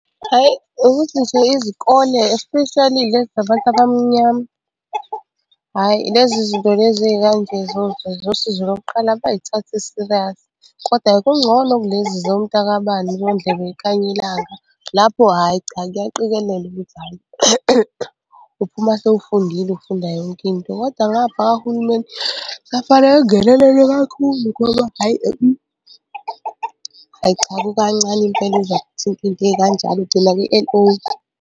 Hhayi ukuthi nje izikole especially ezabantu abamnyama, hhayi lezi zinto lezi ey'kanje zosizo lokuqala abay'thathi serious, koda-ke kungcono kulezi zomntakabani kondlebe y'khanya ilanga lapho hhayi cha kuyaqikelelwa ukuthi hhayi uphuma sewufundile ufunda yonke into, kodwa ngapha kahulumeni kusafanele angenelele kakhulu ngoba hhayi hhayi cha kukancane impela uzwa kuthintwa iy'nto ey'kanjalo ugcina kwi-L_O.